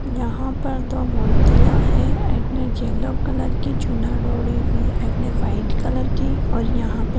यहाँ पर दो मुर्तिया हैं। एक ने येलो कलर की चुनर ओढ़ी हुई है एक ने वाइट कलर की और यहाँ पे--